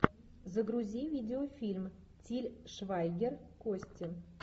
загрузи видеофильм тиль швайгер кости